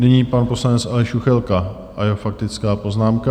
Nyní pan poslanec Aleš Juchelka a jeho faktická poznámka.